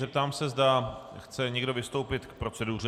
Zeptám se, zda chce někdo vystoupit k proceduře?